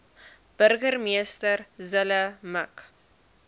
burgemeester zille mik